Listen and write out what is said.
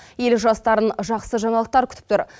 ел жастарын жақсы жаңалықтар күтіп тұр